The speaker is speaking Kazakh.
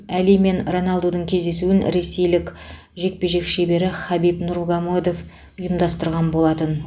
әли мен роналдудың кездесуін ресейлік жекпе жек шебері хабиб нурмагодов ұйымдастырған болатын